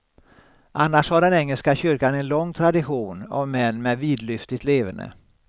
Annars har den engelska kyrkan en lång tradition av män med vidlyftigt leverne.